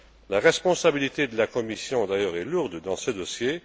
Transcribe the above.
La responsabilité de la Commission est d'ailleurs lourde dans ce dossier.